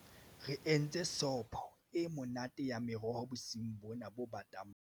re entse sopo e monate ya meroho bosiung bona bo batang ba mariha